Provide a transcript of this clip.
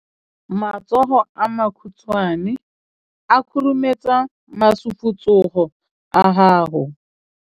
Matsogo a makhutshwane a khurumetsa masufutsogo a gago.